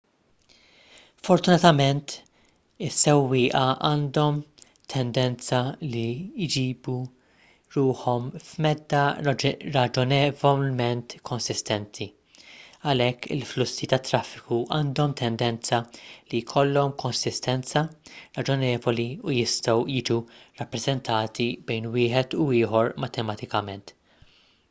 fortunatament is-sewwieqa għandhom tendenza li jġibu ruħhom f'medda raġonevolment konsistenti għalhekk il-flussi tat-traffiku għandhom tendenza li jkollhom konsistenza raġonevoli u jistgħu jiġu rappreżentati bejn wieħed u ieħor matematikament